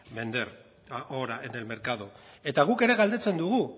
vender ahora en el mercado eta guk ere galdetzen dugu